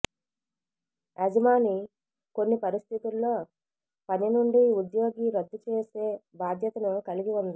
యజమాని కొన్ని పరిస్థితుల్లో పని నుండి ఉద్యోగి రద్దుచేసే బాధ్యతను కలిగి ఉంది